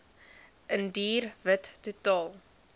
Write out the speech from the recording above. indiër wit totaal